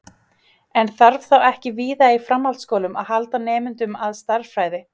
En þarf þá ekki víða í framhaldsskólum að halda nemendum að stærðfræði?